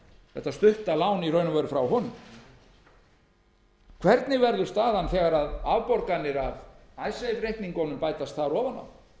þetta stutta lán frá honum hvernig verður staðan þegar afborganir af icesave reikningunum bætast þar ofan á